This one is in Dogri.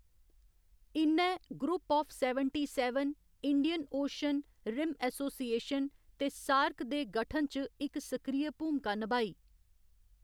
इ'न्नै group of seventy seven, Indian Ocean Rim Association ते सार्क दे गठन च इक सक्रिय भूमका नभाई।